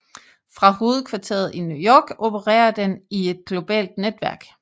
Fra hovedkvarteret i New York opererer den i et globalt netværk